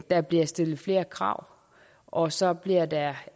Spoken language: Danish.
der bliver stillet flere krav og så bliver der